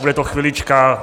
Bude to chvilička.